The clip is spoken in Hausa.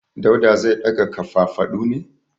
Dauda zai daga kafafadu ne.